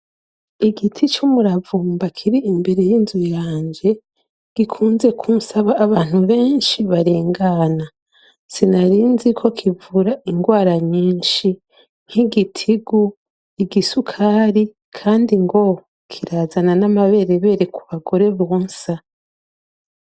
Igiti c'umuravumba kiri imbere y'inzu yanje gikunze kunsaba abantu benshi barengana sinarinziko kivura ingwara nyinshi nkigitigu, igisukari kandi ngo kirazana n'amaberebere ku bagore bonsa.